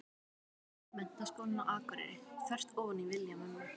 Menntaskólann á Akureyri, þvert ofan í vilja mömmu.